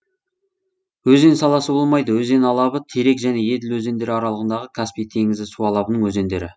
өзен саласы болмайды өзен алабы терек және еділ өзендері аралығындағы каспий теңізі су алабының өзендері